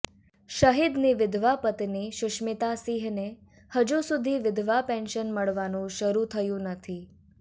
શહીદની વિધવા પત્ની સુષ્મિતા સિંહને હજુ સુધી વિધવા પેન્શન મળવાનું શરૂ થયું નથી